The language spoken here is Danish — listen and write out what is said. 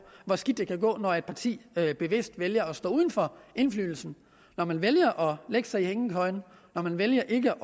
hvor skidt det kan gå når et parti bevidst vælger at stå uden for indflydelse når man vælger at lægge sig i hængekøjen når man vælger ikke